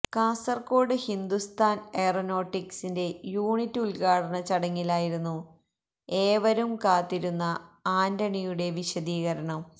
കാസര്കോട് ഹിന്ദുസ്ഥാന് എയ്റോനോട്ടിക്സിന്റെ യൂണിറ്റ് ഉദ്ഘാടന ചടങ്ങിലായിരുന്നു ഏവരും കാത്തിരുന്ന ആന്റണിയുടെ വിശദീകരണം